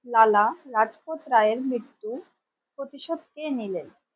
লালা রাজপথ রায়ের মৃত্যুর প্রতিশোধ কে নিলেন?